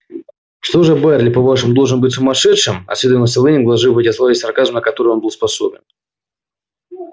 что же байерли по-вашему должен быть сумасшедшим осведомился лэннинг вложив в эти слова весь сарказм на который он был способен